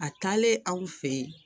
A taalen aw fɛ yen